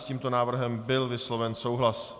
S tímto návrhem byl vysloven souhlas.